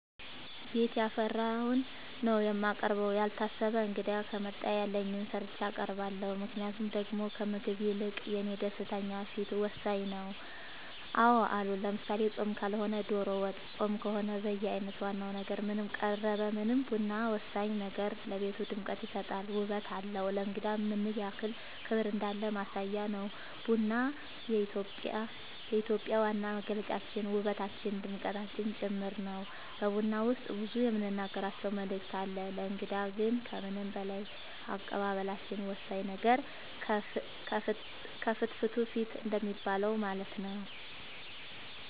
ቤት ያፈራውን ነው የማቀርበው ያልታሰበ እንግዳ ከመጣ ያለኝን ሰርቼ አቀርባለሁ ምክንያቱም ደሞ ከምግቡ ይልቅ የኔ ደስተኛ ፊት ወሳኝ ነው አዎ አሉ ለምሳሌ ፆም ካልሆነ ዶሮ ወጥ ፆም ከሆነ በየአይነት ዋና ነገር ምንም ቀረበ ምንም ቡና ወሳኝ ነገር ነው ለቤቱ ድምቀት ይሰጣል ውበት አለው ለእንግዳም ምንያክል ክብር እንዳለን ማሳያ ነው ቡና የኢትዮጵያ ዋና መገለጫችን ውበታችን ድምቀታችን ጭምር ነው በቡና ውስጥ ብዙ የምንናገራቸው መልዕክት አለው ለእንግዳ ግን ከምንም በላይ አቀባበላችን ነው ወሳኙ ነገር ከፍትፍቱ ፊቱ እንደሚባለው ማለት ነው